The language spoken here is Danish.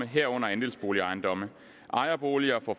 herunder andelsboligejendomme ejerboliger får